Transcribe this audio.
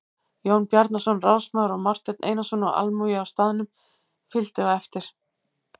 Jón Bjarnason ráðsmaður og Marteinn Einarsson og almúgi á staðnum fylgdi á eftir.